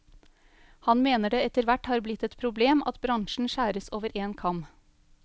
Han mener det etterhvert har blitt et problem at bransjen skjæres over en kam.